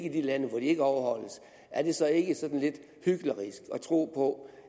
i de lande hvor de ikke overholdes er det så ikke sådan lidt hyklerisk at tro på